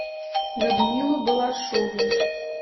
людмилу балашову